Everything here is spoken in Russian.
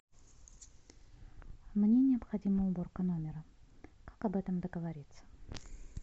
мне необходима уборка номера как об этом договориться